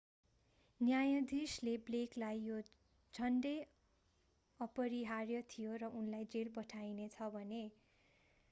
न्यायाधीशले blakeलाई यो झण्डै अपरिहार्य थियो र उनलाई जेल पठाइने छ भने।